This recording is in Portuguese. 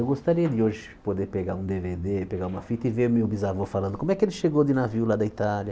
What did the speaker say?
Eu gostaria de hoje poder pegar um Dê Vê Dê, pegar uma fita e ver o meu bisavô falando como é que ele chegou de navio lá da Itália.